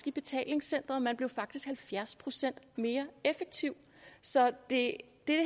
i betalingscenteret man blev halvfjerds procent mere effektiv så det